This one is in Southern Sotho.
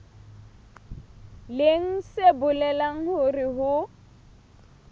leng se bolelang hore ho